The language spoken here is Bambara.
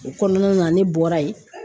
O kɔnɔna na ne bɔra yen